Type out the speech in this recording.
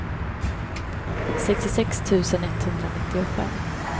sextiosex tusen etthundranittiofem